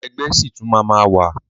Ẹgbẹ́ ṣì tún máa ma wà.